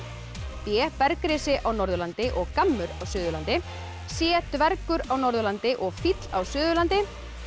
b á Norðurlandi og gammur á Suðurlandi c dvergur á Norðurlandi og fíll á Suðurlandi